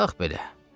Bax belə.